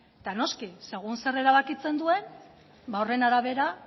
eta noski segun eta zer erabakitzen duen ba horren arabera